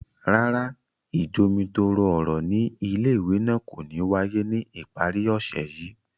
Rárá, ijomitoro ọrọ ni ìlé-ìwé náà ko ni waye ni ipari ọsẹ yii.